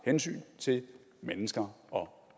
hensyn til mennesker og